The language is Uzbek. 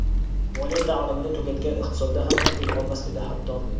moliya ta’limini tugatgan iqtisodda ham o‘qiy olmas edi, hatto.